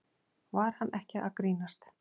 Var hann ekki að grínast?